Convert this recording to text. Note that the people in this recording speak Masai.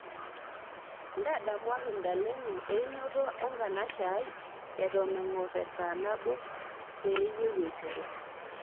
ntadamuaki ntalengo einoto e nkanashe aai eton engor esaa nabo peuyie eiteru